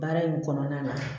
Baara in kɔnɔna na